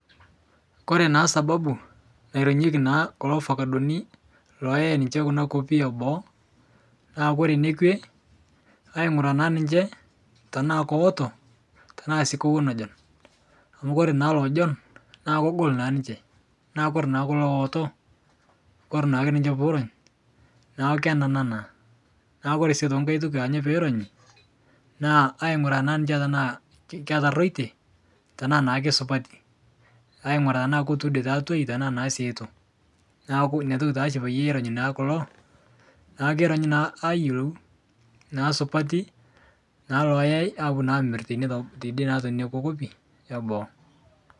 Kore naa sababu naironyeki naa kulo afakadoni looyai ninche kuna nkopi eboo, naa kore nekwe aing'uraa naa niche tanaa keoto, tanaa sii kewon ejon, amu kore naa lojon naa kogol naa ninche naa kore naa kulo looto, kore naake ninche puurony naa kenana naa. Naa kore sii nkae toki aanyo peironyi naa aing'uraa naa ninche tanaa ketaroite, tanaa naa keisupati, aing'uraa tanaa ketuudete atwai tanaa sii etu. Naaku inia toki tashi payie eronyi kulo naa keironyi naa ayelou naa supati naa loyai apo naa amir teine teb teide naa tenokwa nkopi eboo.